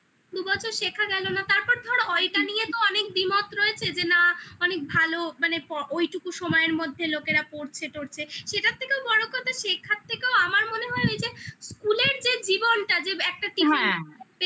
দু বছর শেখা গেলো না তারপর ধরো অলটা নিয়ে তো অনেক দ্বিমত রয়েছে যে না অনেক ভালো মানে ওইটুকু সময়ের মধ্যে লোকেরা পড়ছে টরছে সেটার থেকেও বড় কথা শেখার থেকে আমার মনে হয় ওই যে school এর যে জীবনটা যে একটা tiffin হবে